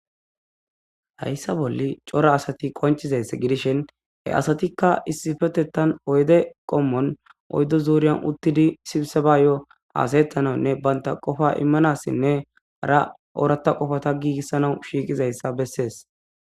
Hayssa bolli cora asathi qonccizayssa gidishin he asathikka issipetheththan oyde qommon oyddu zuuriyan uththidi sibsabaayoo haasayeththanawunne banththa qofaa immanaassinne hara ooraththa qofaatha giigissanawu shiiqiizayssa besses.